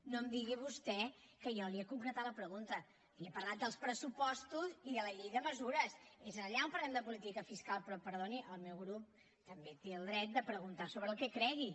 no em digui vostè que jo no li he concretat la pregunta li he parlat dels pressupostos i de la llei de mesures és allà on parlem de política fiscal però perdoni el meu grup també té el dret de preguntar sobre el que cregui